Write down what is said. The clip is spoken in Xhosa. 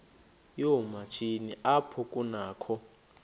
yoomatshini apho kunakho